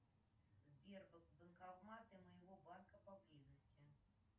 сбер банкоматы моего банка поблизости